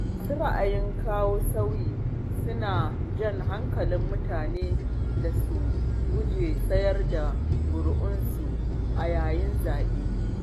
Masu raayin kawo sauyi suna jan hakalin mutane da su guji siyar da ƙuri'unsu a yayin zaɓe.